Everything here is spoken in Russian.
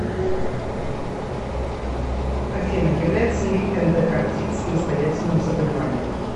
афина является ли эндокардит самостоятельным заболеванием